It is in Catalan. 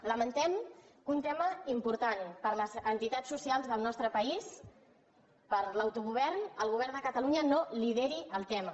lamentem que un tema important per a les entitats soci·als del nostre país per a l’autogovern el govern de ca·talunya no lideri el tema